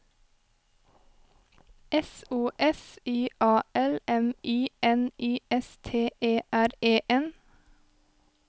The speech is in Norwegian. S O S I A L M I N I S T E R E N